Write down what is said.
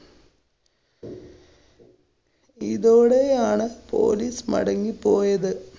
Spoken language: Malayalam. ഇതോടെയാണ് police മടങ്ങി പോയത്.